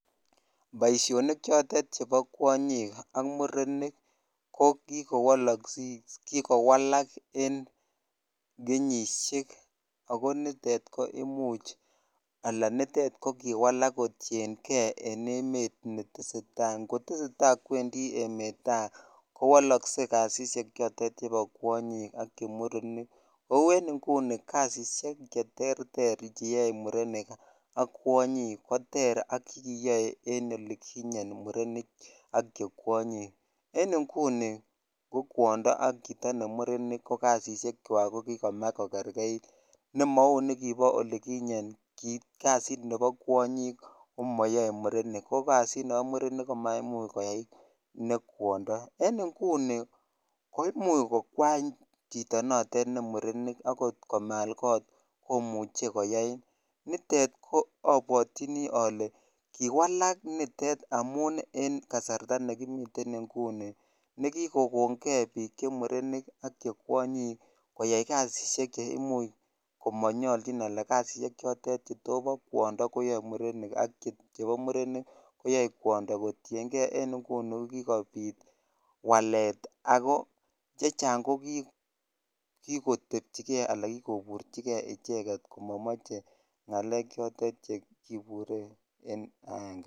Boishonik chotet chebo kwonyik ak murenik ko kikowalak en kenyishek ak ko nitet koimuch alaa nitet ko kiwalak kotieng'e en ng'oteseta, ng'oteseta kwendi emet taa kowolokse kasisiek chotet chebo kwonyik ak chemurenik, kouu en ing'uni kasisiek cheterter cheyoe murenik ak kwonyik koter ak chekiyoe en olikinye murenik ak chekwonyik, en ing'uni ko kwondo ak chito ne murenik ko kasisiekwak ko kikomach ko kerkeit nemou nebo olikinyen kii kasiit nebo kwonyik ko moyoe murenik ko kasit nebo mamurenik komaimuch koyai nee kwondo, en inguni ko imuch kokwany chito notet ne murenik ak kot komaal kot komuche koyai, nitet ko obwotyini olee kiwalak nitet amun en kasarta nekimiten nguni nekikokong'e biik chemurenik ak chekwonyik koyai kasisiek cheimuch komonyolchin anan kasisiek chotet chetobo kwondo koyoe murenik ak chebo murenik koyoe kwondo kotieng'e en ing'uni kobiit walet ak ko chechang ko kikotebchike alaa kikoburchike icheket komomoche ng'alek chotet chekibure en aenge.